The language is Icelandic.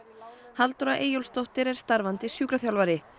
Halldóra Eyjólfsdóttir er starfandi sjúkraþjálfari